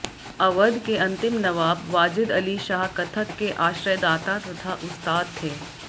अवध के अंतिम नबाब वाजिद अली शाह कत्थक के आश्रयदाता तथा उस्ताद थे